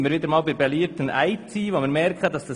Damit sind wir wieder einmal bei der IT.